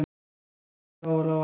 Nei, sagði Lóa-Lóa.